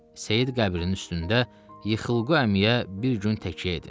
Seyid qəbrinin üstündə Yıxılqu əmiyə bir gün təkəyə edin.